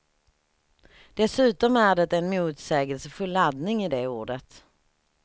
Dessutom är det en motsägelsefull laddning i det ordet.